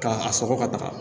K'a sɔgɔ ka taga